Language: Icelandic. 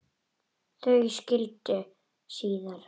Þau skildi síðar.